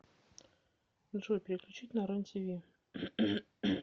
джой переключить на рен тиви